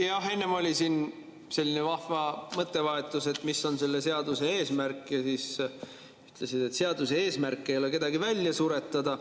Jah, enne oli siin selline vahva mõttevahetus, et mis on selle seaduse eesmärk, ja siis sa ütlesid, et seaduse eesmärk ei ole kedagi välja suretada.